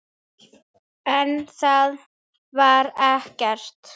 En þær vita ekkert.